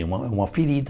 É uma uma ferida.